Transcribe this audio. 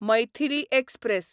Maithili express